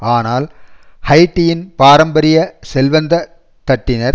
ஆனால் ஹைட்டியின் பாரம்பரிய செல்வந்த தட்டினர்